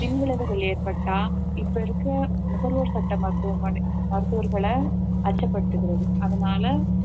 பின் விளைவுகள் ஏற்பட்டா இப்ப இருக்க நுகர்வோர் சட்ட மருத்துவம~ மருத்துவர்களை அச்சப்படுத்துகிறது அதனால